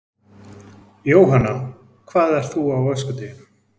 Jóhanna: Hvað ert þú á öskudeginum?